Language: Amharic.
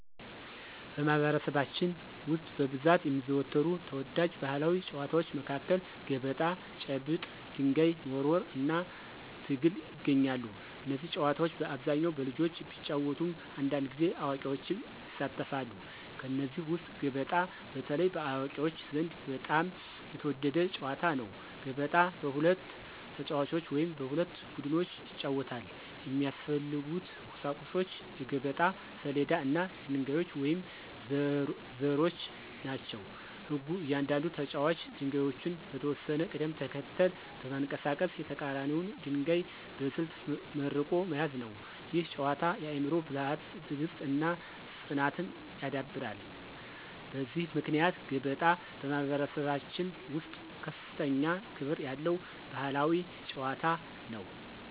በማኅበረሰባችን ውስጥ በብዛት የሚዘወተሩ ተወዳጅ ባሕላዊ ጨዋታዎች መካከል ገበጣ፣ ጭብጥ (ድንጋይ መወርወር) እና ትግል ይገኛሉ። እነዚህ ጨዋታዎች በአብዛኛው በልጆች ቢጫወቱም አንዳንድ ጊዜ አዋቂዎችም ይሳተፋሉ። ከእነዚህ ውስጥ ገበጣ በተለይ በአዋቂዎች ዘንድ በጣም የተወደደ ጨዋታ ነው። ገበጣ በሁለት ተጫዋቾች ወይም በሁለት ቡድኖች ይጫወታል። የሚያስፈልጉት ቁሳቁሶች የገበጣ ሰሌዳ እና ድንጋዮች ወይም ዘሮች ናቸው። ሕጉ እያንዳንዱ ተጫዋች ድንጋዮቹን በተወሰነ ቅደም ተከተል በማንቀሳቀስ የተቀራኒውን ድንጋይ በስልት መርቆ መያዝ ነው። ይህ ጨዋታ የአእምሮ ብልሃትን፣ ትዕግሥትን እና ፅናትን ያዳብራል። በዚህ ምክንያት ገበጣ በማኅበረሰባችን ውስጥ ከፍተኛ ክብር ያለው ባሕላዊ ጨዋታ ነው።